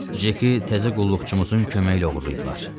Ceki təzə qulluqçumuzun köməyi ilə oğurlayıblar.